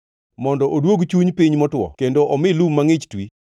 mondo oduog chuny piny motwo kendo omi lum mangʼich twi?